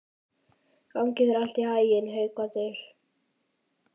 Gangi þér allt í haginn, Haukvaldur.